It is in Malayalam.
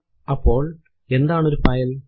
അപ്പോൾ എന്താണ് ഒരു ഫയൽ160